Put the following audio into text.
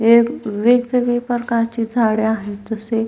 वेग वेगवेगळी प्रकारची झाड आहेत तसे --